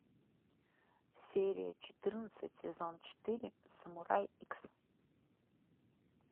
серия четырнадцать сезон четыре самурай икс